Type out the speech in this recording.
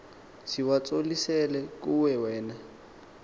siwatsolisela kuwe wena